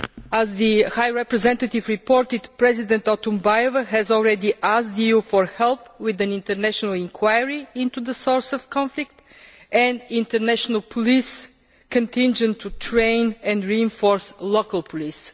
As the High Representative reported, President Otunbayeva has already asked the EU for help with an international inquiry into the source of the conflict and an international police contingent to train and reinforce local police.